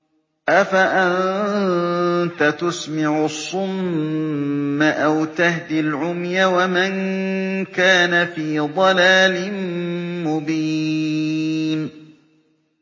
أَفَأَنتَ تُسْمِعُ الصُّمَّ أَوْ تَهْدِي الْعُمْيَ وَمَن كَانَ فِي ضَلَالٍ مُّبِينٍ